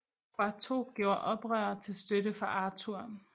Poitou gjorde oprør til støtte for Arthur